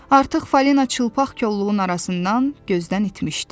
Artıq Falina çılpaq kolluğun arasından gözdən itmişdi.